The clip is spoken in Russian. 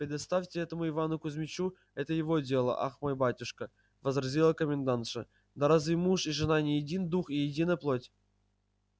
предоставьте этому ивану кузмичу это его дело ах мой батюшка возразила комендантша да разве муж и жена не един дух и едина плоть